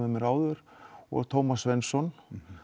mér áður og Svensson